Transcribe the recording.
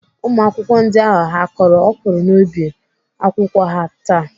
Ụmụakwụkwọ ndị ahụ ha kọrọ ọkwụrụ n'ubi akwụkwọ ha taa?